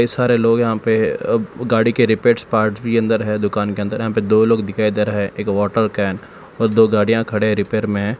सारे लोग यहां पे गाड़ी के रिपेयर पार्ट भी अंदर है दुकान के अंदर यहां पे दो लोग है एक वाटर कैन और दो गाड़ियां खड़े है रिपेयर में।